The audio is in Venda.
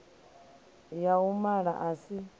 ya u mala a si